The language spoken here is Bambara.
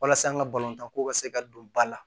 Walasa an ka balontan ko ka se ka don ba la